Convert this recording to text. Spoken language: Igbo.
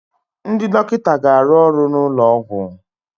Ndị dọkịta ga-arụ ọrụ n'ụlọ ọgwụ